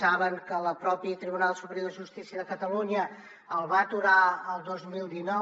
saben que el propi tribunal superior de justícia de catalunya el va aturar el dos mil dinou